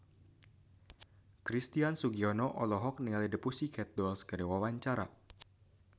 Christian Sugiono olohok ningali The Pussycat Dolls keur diwawancara